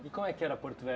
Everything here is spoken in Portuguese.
E como é que era Porto